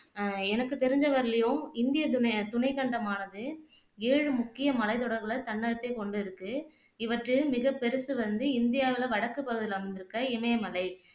அஹ் எனக்கு தெரிஞ்ச வரையிலும் இந்திய துண துணைக்கண்டமானது ஏழு முக்கிய மலைத்தொடர்கள் தன்னகத்தை கொண்டிருக்கு இவற்றில் மிகப் பெருசு வந்து இந்தியாவுல வடக்கு பகுதியில அமைந்திருக்க இமயமலை